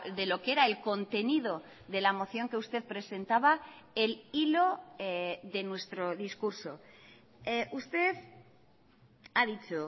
de lo que era el contenido de la moción que usted presentaba el hilo de nuestro discurso usted ha dicho